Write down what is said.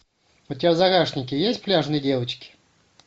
у тебя в загашнике есть пляжные девочки